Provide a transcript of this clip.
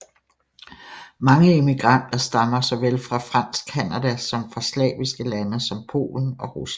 Mange immigranter stammer såvel fra fransk Canada som fra slaviske lande som Polen og Rusland